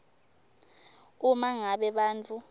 uma ngabe bantfu